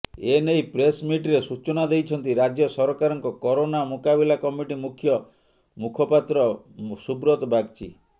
ଏନେଇ ପ୍ରେସମିଟରେ ସୂଚନା ଦେଇଛନ୍ତି ରାଜ୍ୟ ସରକାରଙ୍କ କରୋନା ମୁକାବିଲା କମିଟି ମୁଖ୍ୟ ମୁଖପାତ୍ର ସୁବ୍ରତ ବାଗଚୀ